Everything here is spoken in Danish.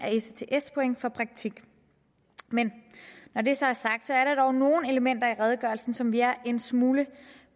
af ects point for praktik når det så er sagt er der dog nogle elementer i redegørelsen som vi er en smule